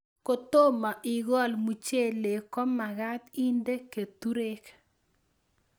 Kotomo ikol muchelek ko magat inde keturek